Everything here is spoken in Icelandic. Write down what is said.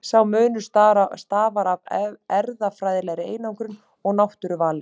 Sá munur stafar af erfðafræðilegri einangrun og náttúruvali.